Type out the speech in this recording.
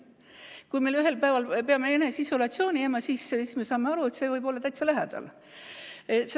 Kui me ühel päeval peame eneseisolatsiooni jääma, siis me saame aru, et see võib olla täitsa lähedal.